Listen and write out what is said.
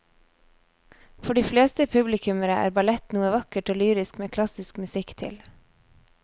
For de fleste publikummere er ballett noe vakkert og lyrisk med klassisk musikk til.